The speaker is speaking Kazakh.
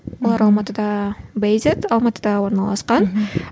олар алматыда алматыда орналасқан мхм